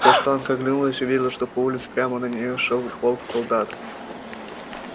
каштанка оглянулась увидела что по улице прямо на неё шёл полк солдат